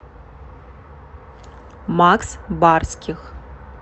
макс барских